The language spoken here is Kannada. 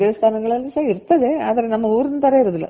ದೇವಾಸ್ಥಾನಗಳಲ್ಲಿ ಸಹ ಇರ್ತದೆ ಆದ್ರೆ ನಮ್ಮ ಊರಿನ್ ತರ ಇರೋದಿಲ್ಲ